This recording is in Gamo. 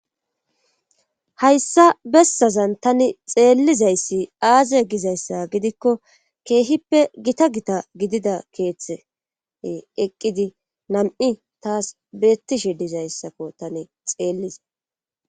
Hayssa bessazan tani xeellizayssi aaze gizayssa gidikko keehippe gita gita gidida keeththe eqqidi nam7i taas beettishe dizayssakko tani xeelliza.